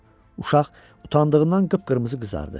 Uşaq utandığından qıpqırmızı qızardı.